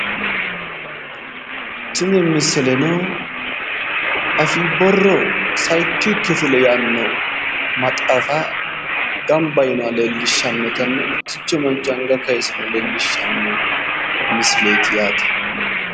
tini misileno afii borro sayiikki kifile yaanni no maxaafana gamba yiinoha leellishshannonna mittichu manchi anga kayiisino leellishhsnno misileeti yaate